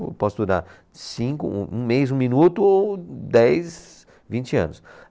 Eu posso durar cinco, um um mês, um minuto ou dez, vinte anos.